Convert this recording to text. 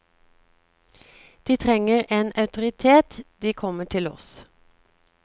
De trenger en autoritet, de kommer til oss.